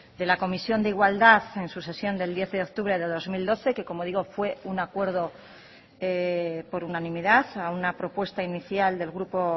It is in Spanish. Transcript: de la comisión de igualdad en su sesión del diez de octubre de dos mil doce que como digo fue un acuerdo por unanimidad a una propuesta inicial del grupo